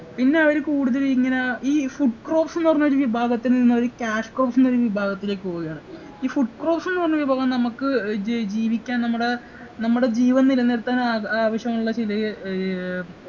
പിന്നെ അവര് കൂടുതലിങ്ങനെ ഈ food crops എന്ന് പറഞ്ഞ ഒരു വിഭാഗത്തിൽ നിന്നവര് cash crops എന്ന ഒരു പറഞ്ഞ വിഭാഗത്തിലേക്ക് പോവയാണ് ഈ food crops എന്ന് പറഞ്ഞ വിഭാഗം നമ്മക്ക് ഏർ ജ് ജീവിക്കാൻ നമ്മടെ നമ്മടെ ജീവൻ നിലനിർത്താൻ ആഹ് ആവശ്യമുള്ള ചില ഏർ